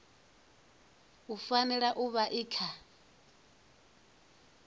fanela u vha i kha